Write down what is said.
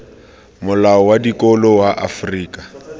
molao wa dikolo wa afrika